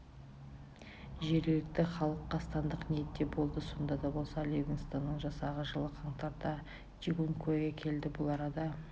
жергілікті халық қастандық ниетте болды сонда да болса ливингстонның жасағы жылы қаңтарда чигункуэге келді бұл арада